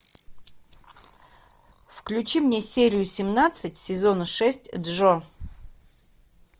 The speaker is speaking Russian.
включи мне серию семнадцать сезона шесть джо